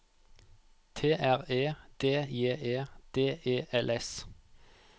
T R E D J E D E L S